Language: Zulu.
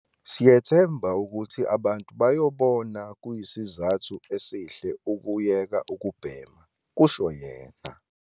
"Siyethemba ukuthi abantu bazobona kuyisizathu esihle ukuyeka ukubhema," kusho yena.